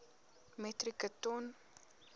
metrieke ton